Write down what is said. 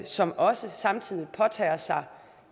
som også samtidig påtager sig